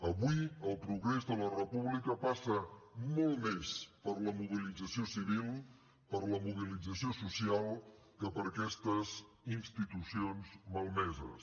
avui el progrés de la república passa molt més per la mobilització civil per la mobilització social que per aquestes institucions malmeses